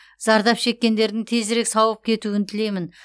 зардап шеккендердің тезірек сауығып кетуін тілеймін